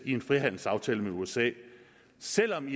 i en frihandelsaftale med usa selv om